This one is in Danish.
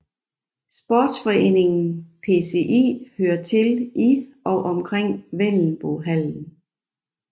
Sportsforeningen PSI hører til i og omkring Vendelbohallen